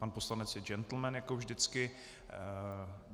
Pan poslanec je džentlmen jako vždycky.